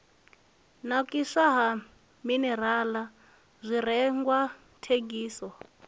nakiswa ha minirala zwirengwa thengiso